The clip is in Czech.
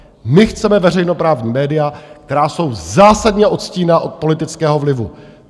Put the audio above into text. My chceme veřejnoprávní média, která jsou zásadně odstíněna od politického vlivu.